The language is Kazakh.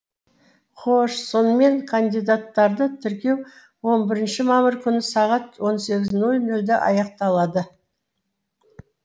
хош сонымен кандидаттарды тіркеу он бірінші мамыр күні сағат он сегіз ноль нольде аяқталады